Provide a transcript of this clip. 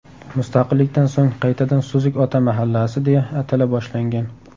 Mustaqillikdan so‘ng qaytadan Suzuk ota mahallasi, deya atala boshlangan.